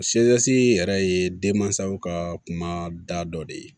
yɛrɛ ye denmansaw ka kumada dɔ de ye